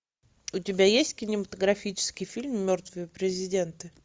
у тебя есть кинематографический фильм мертвые президенты